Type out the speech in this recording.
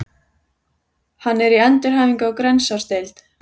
Hann er í endurhæfingu á Grensásdeild.